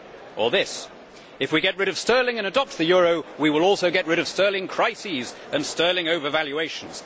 Or this If we get rid of sterling and adopt the euro, we will also get rid of sterling crises and sterling over valuations.